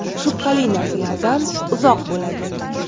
Shubhali narsalardan uzoq bo‘ladi.